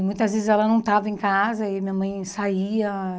E muitas vezes ela não estava em casa e minha mãe saía.